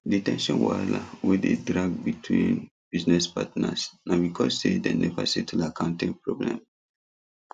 the ten sion wahala wey dey drag between business partners na because sey dem never settle accounting problem